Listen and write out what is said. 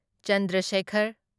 Chandra Sekhar